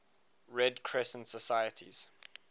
red crescent societies